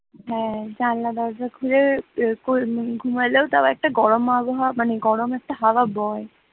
হাঁ জানলা দরজা খুললেও গরম একটা আবহাওয়া মানে গরম একটা হাওয়া বয়,